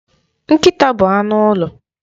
Nkịta bụ anụ ụlọ